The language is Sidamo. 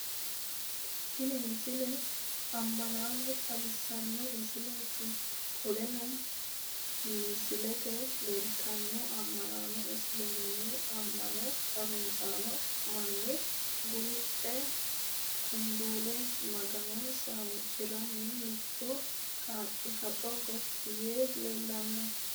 tini misile ama'no xawissanno misileeti qoleno misilete leellitaa ama'no isiliminnu ama'no harunsaaikewo manni guluphe/ kunbuule maganonsa huucciranna mittu qaaqi haxo gotti yee leellano